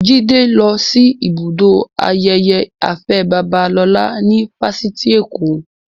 Jide lọ sí ibùdó ayẹyẹ Afe Babalola ní Fáṣitì Èkó